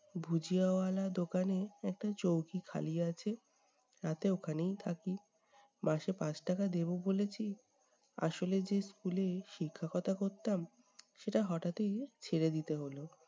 ভুজিয়াওয়ালা দোকানে একটা চৌকি খালি আছে, রাতে ওখানেই থাকি। মাসে পাঁচ টাকা দেব বলেছি। আসলে যে school এ শিকক্ষতা করতাম, সেটা হঠাৎই ছেড়ে দিতে হল।